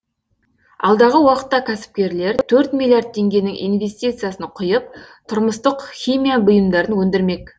алдағы уақытта кәсіпкерлер төрт миллиард теңгенің инвестициясын құйып тұрмыстық химия бұйымдарын өндірмек